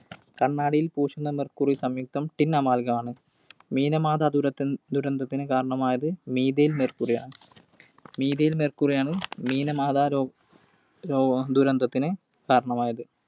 കണ്ണാടിയിൽ പൂശുന്ന mercury സംയുക്തം Tin amalgam ആണ്. Minamata ദുരന്ത~ദുരന്തത്തിന് കാരണമായത് Methyl Mercury ആണ്. Methyl Mercury യാണ് Minamata ദുരന്തത്തിന് കാരണമായത്.